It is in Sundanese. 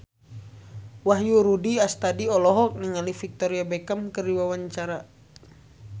Wahyu Rudi Astadi olohok ningali Victoria Beckham keur diwawancara